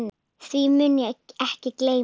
Því mun ég ekki gleyma.